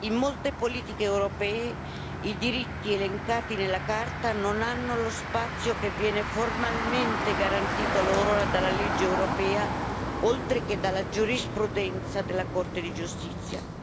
In molte politiche europee i diritti elencati nella Carta non hanno lo spazio che viene formalmente garantito loro dalla legge europea, oltre che dalla giurisprudenza della Corte di giustizia.